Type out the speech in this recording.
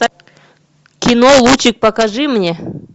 кино лучик покажи мне